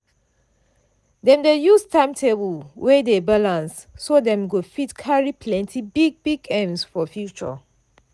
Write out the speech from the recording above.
dem dey use time table wey dey balanced so dem go fit carry plenty big big aims for future.